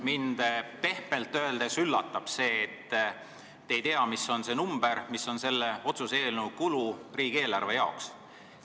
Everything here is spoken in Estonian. Mind pehmelt öeldes üllatab see, et te ei tea, mis on selle otsuse eelnõu kulu riigieelarve jaoks.